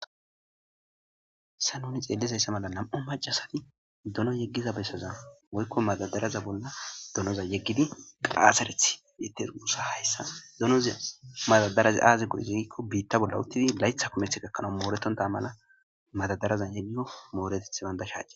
sa nuni xeellizayssa mala nam7o macasati dono yeggiza bessaza woykko madadaraza bolla donoza yeggidi qaasareth deter guussa hayssa donoza madadaraze aaze gudizagikko biitta bolla uttidi laytha kumeth gakkanau mooreton tamana madadarazan yeggiyo mooreteth bandashaje